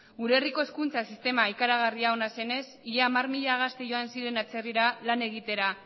gure herriko hezkuntza sistema ikaragarri ona zenez ia hamar mila gazte joan ziren atzerrira lan egitera